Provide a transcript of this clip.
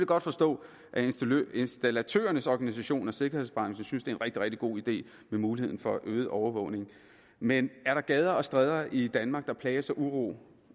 godt forstå at installatørernes organisation og sikkerhedsbranchen synes det er en rigtig rigtig god idé med muligheden for øget overvågning men er der gader og stræder i danmark der plages af uro